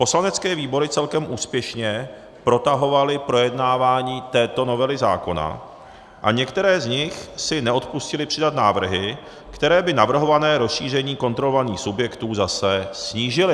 Poslanecké výbory celkem úspěšně protahovaly projednávání této novely zákona a některé z nich si neodpustily přidat návrhy, které by navrhované rozšíření kontrolovaných subjektů zase snížily.